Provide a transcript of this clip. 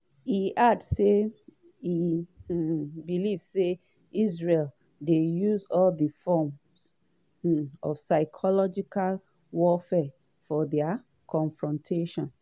e add say e um believe say “israel dey used to all forms um of psychological warfare for dia confrontations".